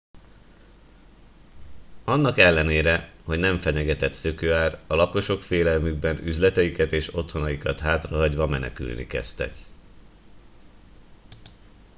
annak ellenére hogy nem fenyegetett szökőár a lakosok félelmükben üzleteiket és otthonaikat hátrahagyva menekülni kezdtek